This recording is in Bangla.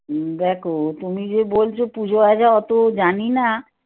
হম দেখো তুমি যে বলছ পুজো আচার এত জানি না